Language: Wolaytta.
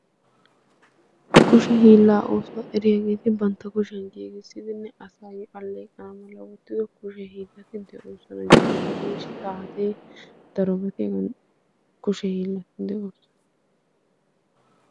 kushe hiillaa oosota eriyaageeti bantta kushiyan giigissidinne asay alleeqaa malaa wottido kushee hiillatti de'oosona jabanay saatee darobati hegan kushe hiillatti de'oosona